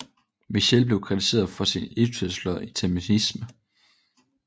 Michtell blev kritiseret for sin utilslørede antisemitisme